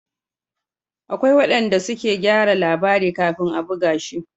Akwai wanda suke gyara labari kafin a buga shi